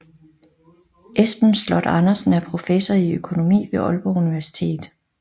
Esben Sloth Andersen er professor i økonomi ved Aalborg Universitet